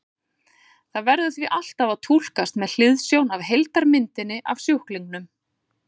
Það verður því alltaf að túlkast með hliðsjón af heildarmyndinni af sjúklingnum.